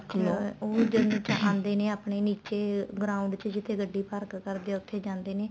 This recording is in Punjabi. ਵੀ ਉਹ ਜਦ ਆਦੇ ਨੇ ਆਪਣੇ ਨੀਚੇ ground ਚ ਜਿਥੇ ਗੱਡੀ ਪਾਰਕ ਕਰਦੇ ਏ ਉੱਥੇ ਜਾਂਦੇ ਨੇ